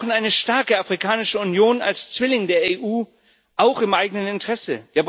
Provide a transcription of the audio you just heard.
Wir brauchen eine starke Afrikanische Union als Zwilling der EU auch im eigenen Interesse.